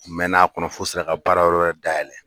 U mɛɛnna a kɔnɔ f'u sera ka baarayɔrɔ wɛrɛ dayɛlɛ